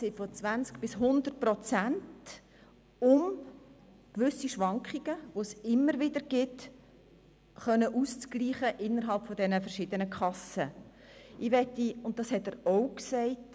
Diese betragen zwischen 20 und 100 Prozent und sind da, um die Schwankungen zwischen den verschiedenen Kassen auszugleichen.